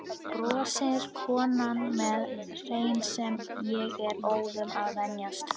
brosir konan með hreim sem ég er óðum að venjast.